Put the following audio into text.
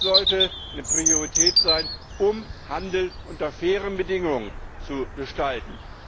Das sollte eine Priorität sein, um Handel unter fairen Bedingungen zu gestalten.